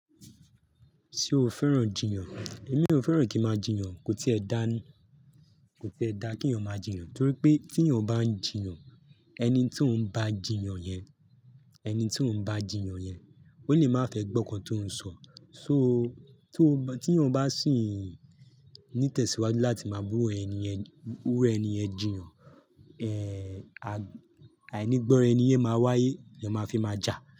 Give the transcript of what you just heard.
Ṣé o fẹ́ràn jiyàn? Èmi ò fẹ́ràn kí n máa jiyàn. Kò tíì ẹ dá ni, kò tíì ẹ dá kí eeyan máa jiyàn, torí pé tí eeyan bá ń jiyàn, ẹni tí ó ń bá jiyàn yẹn, ẹni tí ó ń bá jiyàn yẹn, ó lè má fẹ́ gbọ́ nǹkan tó ń sọ. So tí ó bá, tí eeyan bá sì ní tẹ̀síwájú láti máa ba iru ẹni yẹn iru ẹni yẹn jiyàn, eh àìnígbọ́ ra ẹni yẹ máa wáyé, le máa fi máa jà.